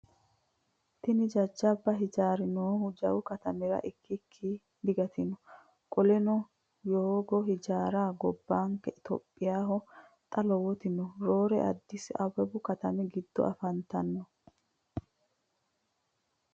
Tini jajjaba hijaarra noohu jawu katamira ikkikki digantino. Qoleno yogoo hijaarra gobbanke itiyophiyahono xa lowoti no. Roore addisi awawu katami giddo afantanno.